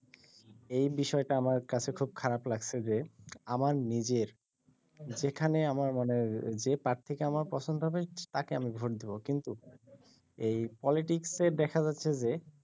এই বিষয়টা আমার কাছে খুব খারাপ লাগছে যে আমার নিজের যেখানে আমার মানে যে পার্থীকে আমার পছন্দ হবে তাকে আমি ভোট দেব কিন্তু এই পলিটিক্সে দেখা যাচ্ছে যে